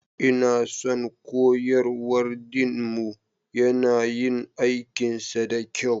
Ina son koyarwar Dean mu, yana yin aikinsa da kyau.